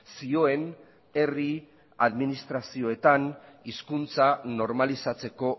zioen herri administrazioetan hizkuntza normalizatzeko